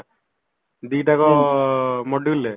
ଦିଟା କ module ରେ